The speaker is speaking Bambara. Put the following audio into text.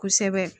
Kosɛbɛ